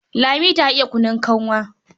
Lami ta iya kunun kanwa.